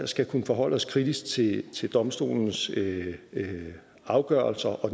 skal kunne forholde os kritisk til til domstolenes afgørelser og